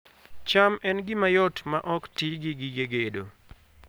cham en gima yot maok ti gi gige gedo